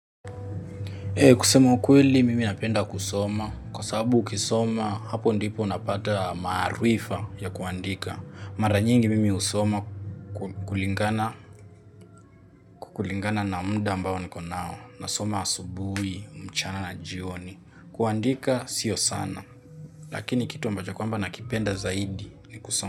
Kusema ukweli, mimi napenda kusoma. Kwa sababu ukisoma, hapo ndipo unapata maarifa ya kuandika. Mara nyingi mimi husoma kulingana na mda ambao niko nao. Nasoma asubui, mchana na jioni. Kuandika, sio sana. Lakini kitu ambacho kwamba nakipenda zaidi ni kusoma.